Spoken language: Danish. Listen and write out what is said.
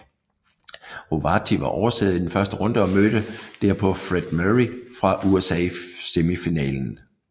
Rovati var oversidder i første runde og mødte derpå Fred Meary fra USA i semifinalen